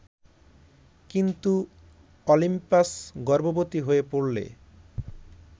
কিন্তু অলিম্পাস গর্ভবতি হয়ে পড়লে